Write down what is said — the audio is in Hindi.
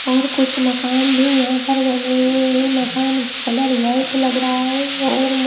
और कुछ मकान भी यहां पर बने हुए हैं मकान का कलर व्हाइट लग रहा है और म--